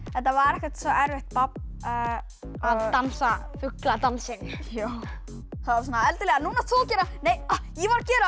þetta var ekkert svo erfitt babb að dansa fugladansinn það var svona nú átt þú að gera nei ég var að gera